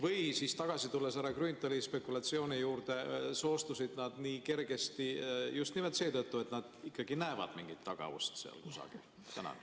Või siis, tagasi tulles härra Grünthali spekulatsiooni juurde, soostusid nad nii kergesti just nimelt seetõttu, et nad näevad mingit tagaust seal kusagil?